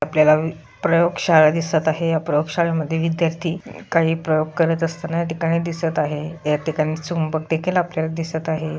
आपल्याला प्रयोग शाळा दिसत आहे या प्रयोग शाळा मध्ये विद्यार्थी काही प्रयोग करत असताना या ठिकाणी दिसत आहे. या ठिकाणी चुंबक देखील आपल्याला दिसत आहे.